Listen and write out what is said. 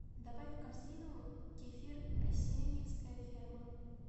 добавь в корзину кефир асеньевская ферма